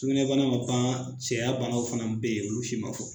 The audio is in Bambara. Sugunɛ bana ma ban cɛya banaw fana bɛ yen olu si ma fɔ